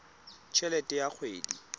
t helete ya kgwedi le